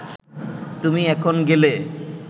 তুমি এখন গেলে